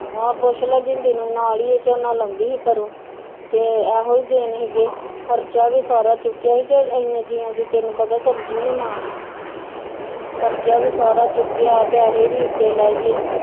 ਆਹ ਪੁਛਲਾ ਜਿੰਦੀ ਨੂੰ ਨਾਲ ਈ ਇਹ ਝੋਨਾ ਲਾਉਂਦੀ ਆ ਤੇ ਖਰਚਾ ਵੀ ਸਾਰਾ ਚੁਕੀਆਂ ਸੀਗਾ ਏਨੇ ਜਿਆਂ ਦੀ ਤੈਨੂੰ ਪਤਾ ਸਬਜ਼ੀ ਨੀ ਮਾਣ ਖਰਚਾ ਵੀ ਸਾਰਾ ਚੁਕਿਆ ਪੈਸੇ ਵੀ ਉਤੇ ਲਾਈਏ